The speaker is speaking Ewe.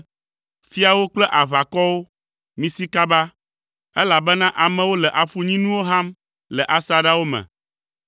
“Fiawo kple aʋakɔwo, misi kaba, elabena amewo le afunyinuwo ham le asaɖawo me.